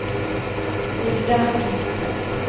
Hulda Nyström